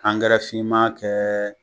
finman kɛ